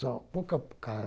Só um pouco